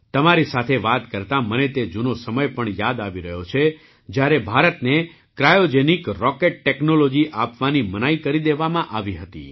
તમારી સાથે વાત કરતા મને જૂનો સમય પણ યાદ આવી રહ્યો છે જ્યારે ભારતને ક્રાયૉજેનિક રૉકેટ ટૅક્નૉલૉજી આપવાથી મનાઈ કરી દીધી હતી